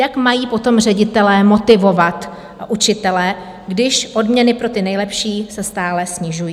Jak mají potom ředitelé motivovat učitele, když odměny pro ty nejlepší se stále snižují?